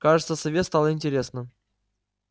кажется сове стало интересно